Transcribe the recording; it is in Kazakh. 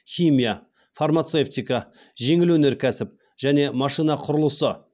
химия фармацевтика жеңіл өнеркәсіп және машина құрылысы